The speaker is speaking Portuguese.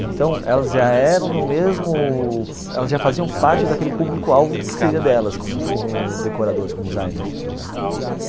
Então elas já eram do mesmo... elas já faziam parte daquele público-alvo que seria delas, como como decoradores, como designers.